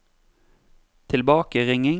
tilbakeringing